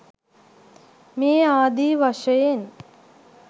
මේ ආදි වශයෙන්